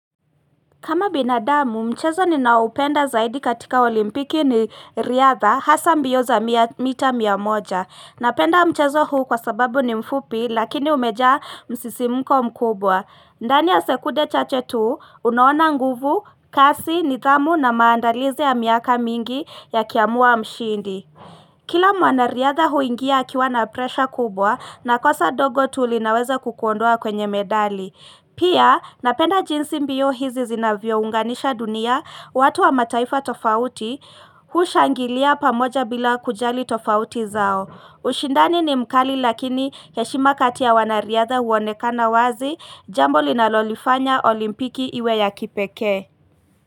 Kama binadamu, mchezo ninaoupenda zaidi katika olimpiki ni riadha hasa mbio za mita mia moja. Napenda mchezo huu kwa sababu ni mfupi lakini umejaa msisimko mkubwa. Ndani ya sekunde chache tu, unaona nguvu, kasi, nidhamu na maandalizi ya miaka mingi yakiamua mshindi. Kila mwanariadha huingia akiwa na presha kubwa na kosa dogo tu linaweza kukuondoa kwenye medali. Pia napenda jinsi mbio hizi zinavyounganisha dunia, watu wa mataifa tofauti hushangilia pamoja bila kujali tofauti zao. Ushindani ni mkali lakini heshima katia wanariadha huonekana wazi jambo linalolifanya olimpiki iwe ya kipekee.